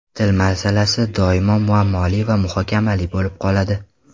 Til masalasi doim muammoli va muhokamali bo‘lib qoladi.